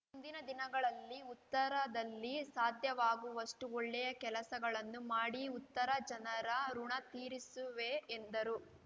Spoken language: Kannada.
ಮುಂದಿನ ದಿನಗಳಲ್ಲಿ ಉತ್ತರದಲ್ಲಿ ಸಾಧ್ಯವಾಗುವಷ್ಟುಒಳ್ಳೆಯ ಕೆಲಸಗಳನ್ನು ಮಾಡಿ ಉತ್ತರ ಜನರ ಋುಣ ತೀರಿಸುವೆ ಎಂದರು